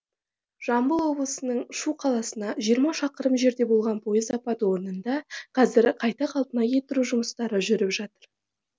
жамбыл облысының шу қаласына жиырма шақырым жерде болған пойыз апаты орнында қазір қайта қалпына келтіру жұмыстары жүріп жатыр